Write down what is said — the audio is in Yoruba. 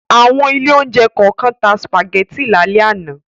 Àwọn ilé-oúnjẹ kọ̀ọ̀kan tá sìpàgẹ́tì lálẹ́ àná.